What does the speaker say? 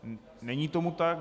Není tomu tak.